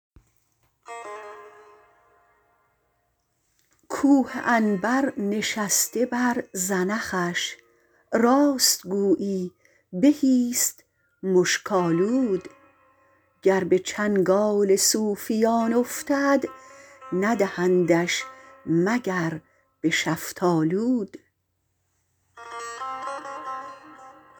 کوه عنبر نشسته بر زنخش راست گویی بهی ست مشک آلود گر به چنگال صوفیان افتد ندهندش مگر به شفتالود